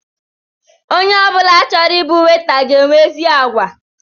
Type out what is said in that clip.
Onye ọbula chọrọ ịbụ weta ga enwe ezi àgwà